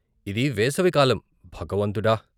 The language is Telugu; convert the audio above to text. ఇది వేసవి కాలం, భగవంతుడా!